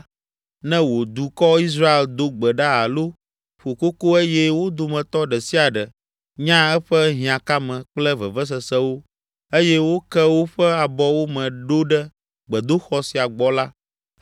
ne wò dukɔ, Israel do gbe ɖa alo ƒo koko eye wo dometɔ ɖe sia ɖe nya eƒe hiãkame kple vevesesewo eye woke woƒe abɔwo me ɖo ɖe gbedoxɔ sia gbɔ la,